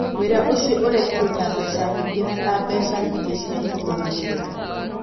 Wĩra ũcio ũrekĩrũo ta mbeca nyingĩ na ta mbeca nyingĩ cia kũrũgamĩrĩra.